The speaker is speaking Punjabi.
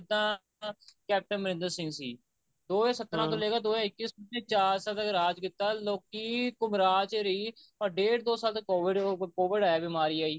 ਜਿੱਦਾਂ ਕੈਪਟਨ ਅਮਰਿੰਦਰ ਸਿੰਘ ਸੀ ਦੋ ਹਜਾਰ ਸਤਰਾਂ ਤੋਂ ਲੇਕੇ ਦੋ ਹਜ਼ਾਰ ਇਕੀਸ ਚਾਰ ਸਾਲ ਤੱਕ ਰਾਜ ਕੀਤਾ ਲੋਕੀ ਘੁਮਰਾ ਚ ਰਹੀ or ਡੇਢ ਦੋ ਸਾਲ ਤੱਕ COVID ਉਹ COVID ਆਇਆ ਬਿਮਾਰੀ ਆਈ